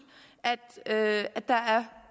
at der